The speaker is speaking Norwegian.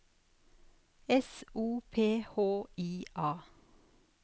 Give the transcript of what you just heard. S O P H I A